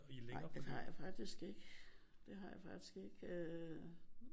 Nej det har jeg faktisk ikke. Det har jeg faktisk ikke øh